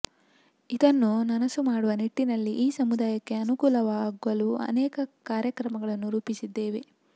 ಇದನ್ನು ನನಸು ಮಾಡುವ ನಿಟ್ಟಿನಲ್ಲಿ ಈ ಸಮುದಾಯಕ್ಕೆ ಅನುಕೂಲವಾಗಲು ಅನೇಕ ಕಾರ್ಯಕ್ರಮಗಳನ್ನು ರೂಪಿಸಿದ್ದೇವೆ